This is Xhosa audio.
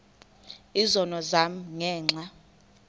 izono zam ngenxa